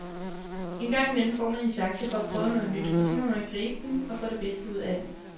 Engang imellem får man en chance for at prøve noget nyt, og så må man gribe den, og få det bedste ud af den.